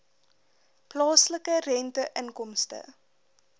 plaaslike rente inkomste